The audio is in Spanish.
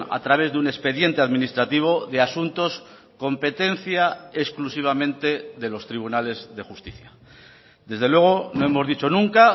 a través de un expediente administrativo de asuntos competencia exclusivamente de los tribunales de justicia desde luego no hemos dicho nunca